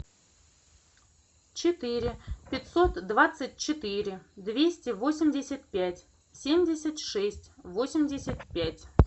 четыре пятьсот двадцать четыре двести восемьдесят пять семьдесят шесть восемьдесят пять